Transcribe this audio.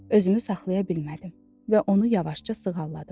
Özümü saxlaya bilmədim və onu yavaşca sığalladım.